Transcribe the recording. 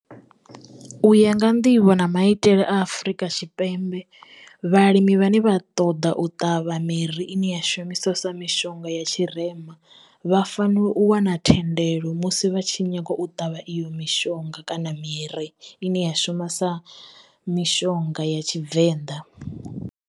U ya nga nḓivho na maitele a Afrika Tshipembe, vhalimi vhane vha ṱoḓa u ṱavha miri ine ya shumisesa mishonga ya tshirema vha fanela u wana thendelo musi vha tshi nyaga u ṱavha iyo mishonga kana miri ine ya shuma sa mishonga ya Tshivenḓa.